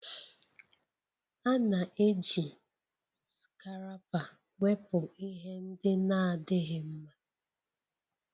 A na-eji Scarapa wepụ ihe ndị na-adịghị mma